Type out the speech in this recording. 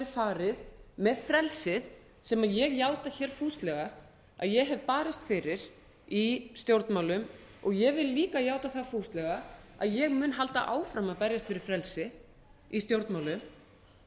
farið með frelsið sem ég játa hér fúslega að ég hef barist fyrir í stjórnmálum ég vil líka játa það fúslega að ég mun halda áfram að berjast fyrir frelsi í stjórnmálum